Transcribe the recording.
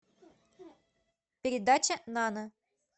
передача нана